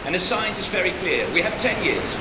The science is very clear we have 10 years.